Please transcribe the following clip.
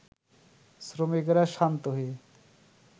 শ্রমিকেরা শান্ত হয়ে